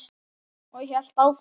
Og hélt áfram: